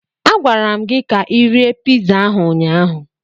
A gwara m gi ka Ị rie piza ahụ ụnyaahụ.